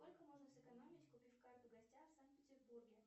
сколько можно сэкономить купив карту гостя в санкт петербурге